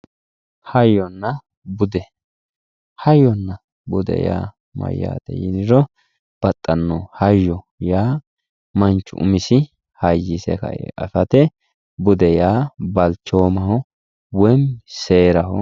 Hayyonna bude, hayyonna bude yaa mayate yinniro babbaxano, hayyo yaa manchu umisi hayyise kae afate bude yaa balchoomaho woyyi seeraho.